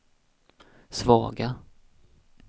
svaga